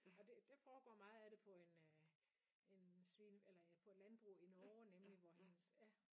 Og det det foregår meget af det på en øh en svine eller ja på et landbrug i Norge nemlig hvor hendes ja